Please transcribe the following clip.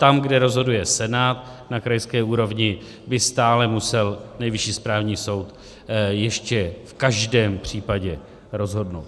Tam, kde rozhoduje senát na krajské úrovni, by stále musel Nejvyšší správní soud ještě v každém případě rozhodnout.